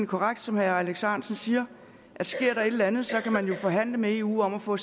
korrekt som herre alex ahrendtsen siger at sker der et eller andet kan man jo forhandle med eu om at få